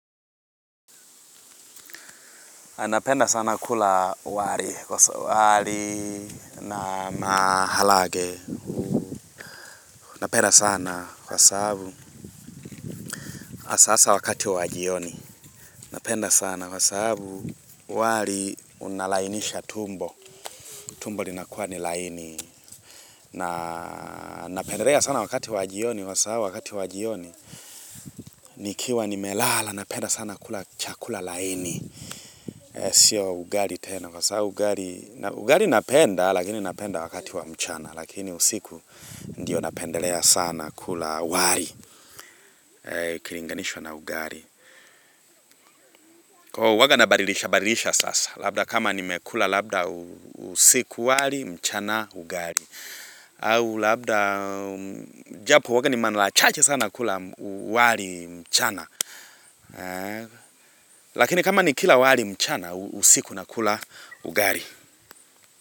Napenda sana kula wali wali na maharagwe Napenda sana kwa sababu hasahasa wakati wa jioni. Napenda sana kwa sababu wali unalainisha tumbo. Tumbo linakuwa ni laini. Na napendelea sana wakati wa jioni kwa sababu wakati wa jioni. Nikiwa nimelala napenda sana kula chakula laini. Sio ugali tena kwa sababu ugali napenda lakini napenda wakati wa mchana. Lakini usiku ndio napendelea sana kula wali ukilinganishwa na ugali kwa huwaga nabadilisha badilisha sasa Labda kama nimekula labda usiku wali mchana ugali au labda japo huwanga ni mara chache sana kula wali mchana Lakini kama nikila wali mchana usiku nakula ugali.